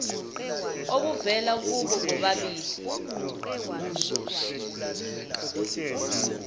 obuvela kubo bobabili